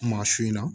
Maa su in na